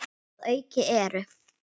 Að auki eru